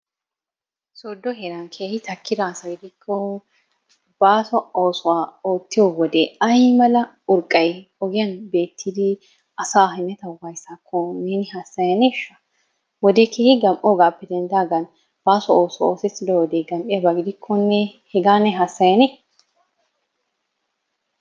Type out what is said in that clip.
Sodo heeran keehi takkida asay de'kko baaso oosuwa oottiyo wode ayimala urqqay ogiyan beettidi asaa hemetawu wayissaakko neeni hassayaneeshsha? Wodee keehi gam'oigaappe denddidaagan baaso oosuwa oosettido wodee gam'iyaba gidikkonne hegaa ne hassayanee?